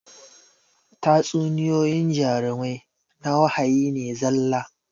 Tatsuniyoyyin jarumai na wahayi ne zalla